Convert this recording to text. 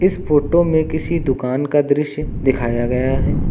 इस फोटो में किसी दुकान का दृश्य दिखाया गया है।